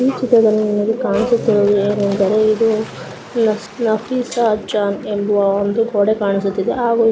ಈ ಚಿತ್ರದಲ್ಲಿ ನಿಮಗೆ ಕಾಣಿಸುತ್ತಿರುವುದು ಏನೆಂದರೆ ಇದು ನಫಿ ನಫಿಸ್ಸಾಜಾನ್ ಎಂಬುವ ಒಂದು ಗೋಡೆ ಕಾಣಿಸುತ್ತಿದೆ ಹಾಗು --